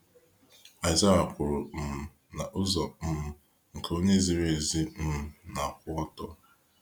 Isaiah kwuru um na ụzọ um nke onye ziri ezi um na akwụ ọtọ.